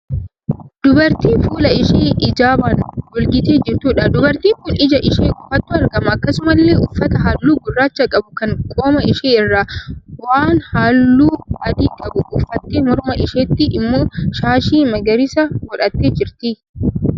Dubartii fuula ishee ijaabaan golgitee jirtuudha. Dubartiin kun ija ishee qofaatu argama. Akkasumallee uffata halluu gurraacha qabu kan qoma ishee irraa waan halluu adii qabu uffattee morma isheetti immoo shaashii magariisa godhattee jirti.